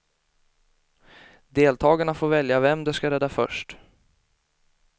Deltagarna får välja vem de ska rädda först.